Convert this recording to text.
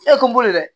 E kun boli dɛ